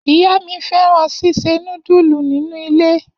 Iya mi fẹran sise nudulu ninu ile.